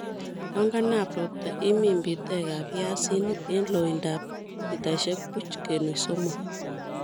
Yon kanam ropta imin bitekab piasinik en loindab mitaisiek buch kenuch somok